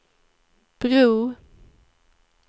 bro